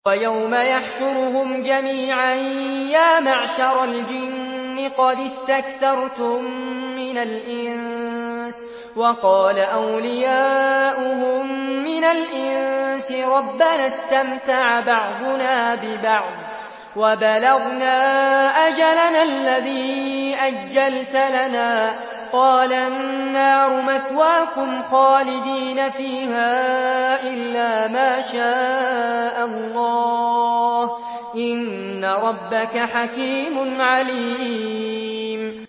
وَيَوْمَ يَحْشُرُهُمْ جَمِيعًا يَا مَعْشَرَ الْجِنِّ قَدِ اسْتَكْثَرْتُم مِّنَ الْإِنسِ ۖ وَقَالَ أَوْلِيَاؤُهُم مِّنَ الْإِنسِ رَبَّنَا اسْتَمْتَعَ بَعْضُنَا بِبَعْضٍ وَبَلَغْنَا أَجَلَنَا الَّذِي أَجَّلْتَ لَنَا ۚ قَالَ النَّارُ مَثْوَاكُمْ خَالِدِينَ فِيهَا إِلَّا مَا شَاءَ اللَّهُ ۗ إِنَّ رَبَّكَ حَكِيمٌ عَلِيمٌ